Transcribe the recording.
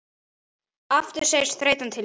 Aftur segir þreytan til sín.